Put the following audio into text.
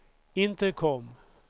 intercom